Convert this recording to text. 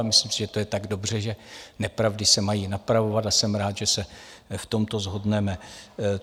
A myslím si, že to je tak dobře, že nepravdy se mají napravovat, a jsem rád, že se v tomto shodneme.